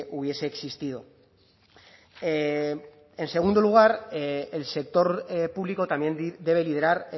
hubiese existido en segundo lugar el sector público también debe liderar